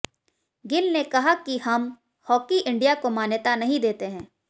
गिल ने कहा कि हम हाकी इंडिया को मान्यता नहीं देते हैं